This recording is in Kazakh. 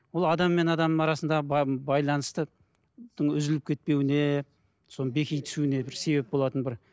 ол адам мен адамның арасындағы байланыстың үзіліп кетпеуіне соның беки түсуіне бір себеп болатын бір